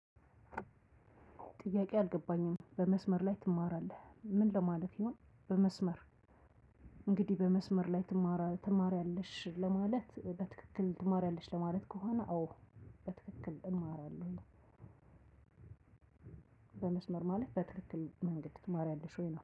ጥያቄ አልገባኝም በመስመር ላይ ትማራለህ ምን ለማለት ይሁን? በመስመር እንግዲህ በመስመር ላይ ትማራ ትማርያለሺ ለማለት በትክክል ትማሪያለሺ ለማለት ከሆነ አወ በትክክል እማራለሁ። በመስመር ማለት በትክክል ትማርያለሺ ማለት ነው